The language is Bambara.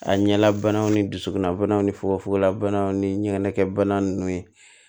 A ɲɛlabanaw ni dusukunna banaw ni fukofogona banaw ni ɲigɛnna ninnu